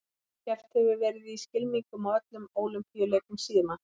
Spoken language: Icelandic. Keppt hefur verið í skylmingum á öllum Ólympíuleikum síðan.